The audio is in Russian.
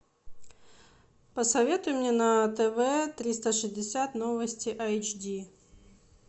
посоветуй мне на тв триста шестьдесят новости эйч ди